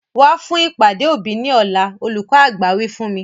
Wa fún ìpàdé òbí ni ọ̀la! Olùkọ́ àgbà wí fún mi.